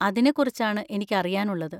അതിനെ കുറിച്ചാണ് എനിക്ക് അറിയാനുള്ളത്.